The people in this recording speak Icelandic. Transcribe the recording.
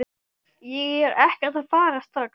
Ég er ekkert að fara strax